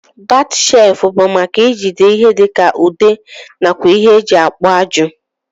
Bat shelfu bu maka ijide ihe dika ude nakwa ihe eji akpu ajụ.